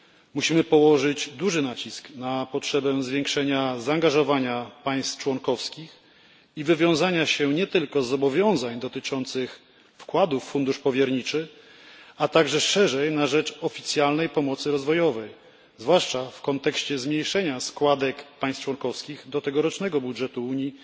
Musimy położyć duży nacisk na potrzebę zwiększenia zaangażowania państw członkowskich i wywiązania się nie tylko z zobowiązań dotyczących wkładów w fundusz powierniczy, a także szerzej na rzecz oficjalnej pomocy rozwojowej, zwłaszcza w kontekście zmniejszenia składek państw członkowskich do tegorocznego budżetu Unii